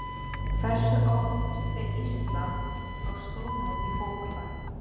Hversu oft fer Ísland á stórmót í fótbolta?